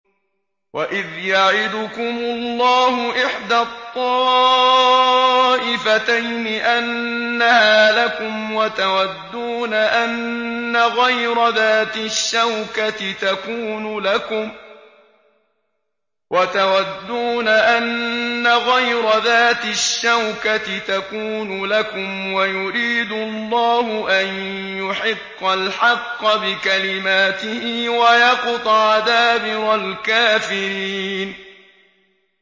وَإِذْ يَعِدُكُمُ اللَّهُ إِحْدَى الطَّائِفَتَيْنِ أَنَّهَا لَكُمْ وَتَوَدُّونَ أَنَّ غَيْرَ ذَاتِ الشَّوْكَةِ تَكُونُ لَكُمْ وَيُرِيدُ اللَّهُ أَن يُحِقَّ الْحَقَّ بِكَلِمَاتِهِ وَيَقْطَعَ دَابِرَ الْكَافِرِينَ